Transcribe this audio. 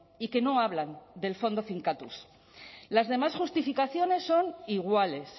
y que no hablan del fondo finkatuz las demás justificaciones son iguales